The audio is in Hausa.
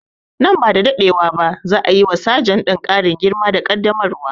Nan ba da daɗewa ba za a yi wa sajan ɗin ƙarin girma da ƙaddamarwa